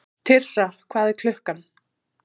Tirsa, hvað er klukkan?